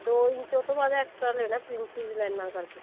ਦੋ ਇੰਚ ਉਹ ਤੋਂ ਬਾਅਦ extra ਲੈਣਾ princess ਲਾਈਨਾ ਕਰਕੇ